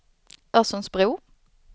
Örsundsbro